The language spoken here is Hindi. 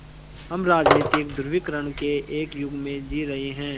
हम राजनीतिक ध्रुवीकरण के एक युग में जी रहे हैं